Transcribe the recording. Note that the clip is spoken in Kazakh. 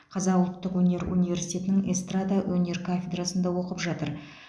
қазақ ұлттық өнер университетінің эстрада өнер кафедрасында оқып жатыр